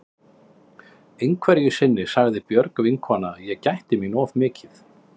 Einhverju sinni sagði Björg vinkona að ég gætti mín of mikið.